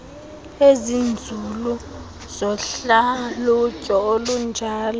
ezinzulu zohlalutyo olunjalo